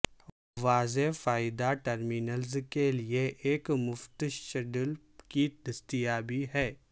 واضح فائدہ ٹرمینلز کے لئے ایک مفت شٹل کی دستیابی ہے